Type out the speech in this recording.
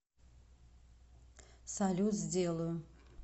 салют сделаю